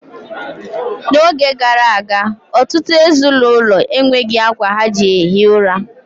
N'oge gara aga, ọtụtụ ezinụlọ enweghi akwa ha ji ehi ųra.